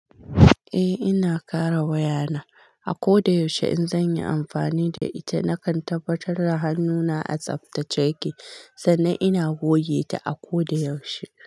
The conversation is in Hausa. Eh ina kare wayana. A ko da yaushe in zan yi amfani da ita, nakan tabbatar da hannuna a tsaftace yake sannan ina goge ta a ko da yaushe.